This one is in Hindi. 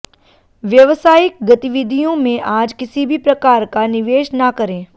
व्यवसायिक गतिविधियों में आज किसी भी प्रकार का निवेश ना करें